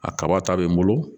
A kaba ta be n bolo